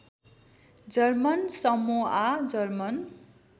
German Samoa German